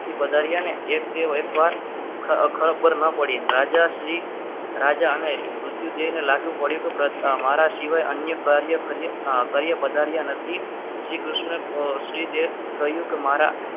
વધારે અને તેઓ એકવાર ખબર ના પડી રાજા શ્રી રાજા અને મૃત્યુ જોઈને લાગુ પડ્યું અમારા સિવાય અન્ય કાર્ય કર્યા વધારે નથી શ્રીકૃષ્ણ શ્રી દેવ કહ્યું કે મારા